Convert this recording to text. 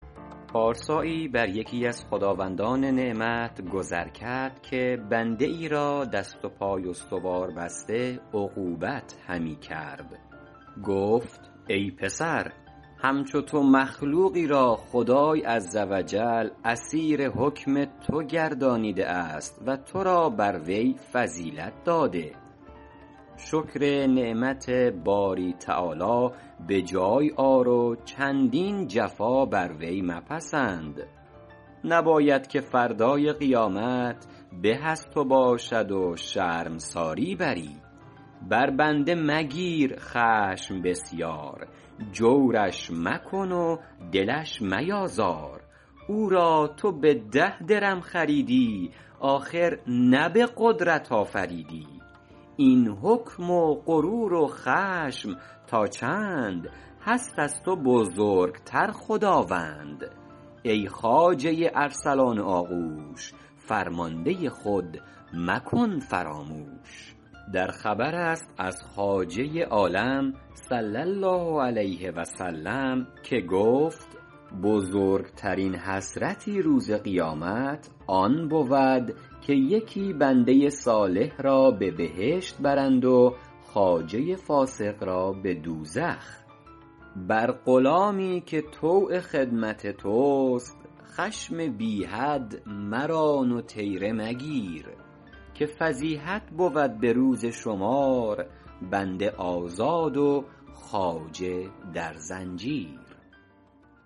پارسایی بر یکی از خداوندان نعمت گذر کرد که بنده ای را دست و پای استوار بسته عقوبت همی کرد گفت ای پسر همچو تو مخلوقی را خدای عز و جل اسیر حکم تو گردانیده است و تو را بر وی فضیلت داده شکر نعمت باری تعالی به جای آر و چندین جفا بر وی مپسند نباید که فردای قیامت به از تو باشد و شرمساری بری بر بنده مگیر خشم بسیار جورش مکن و دلش میازار او را تو به ده درم خریدی آخر نه به قدرت آفریدی این حکم و غرور و خشم تا چند هست از تو بزرگتر خداوند ای خواجه ارسلان و آغوش فرمانده خود مکن فراموش در خبر است از خواجه عالم صلی الله علیه و سلم که گفت بزرگترین حسرتی روز قیامت آن بود که یکی بنده صالح را به بهشت برند و خواجه فاسق را به دوزخ بر غلامی که طوع خدمت توست خشم بی حد مران و طیره مگیر که فضیحت بود به روز شمار بنده آزاد و خواجه در زنجیر